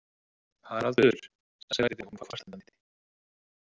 Haraldur, sagði hún kvartandi.